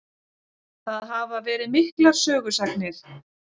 Það hafa verið miklar sögusagnir.